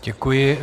Děkuji.